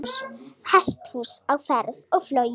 Hesthús á ferð og flugi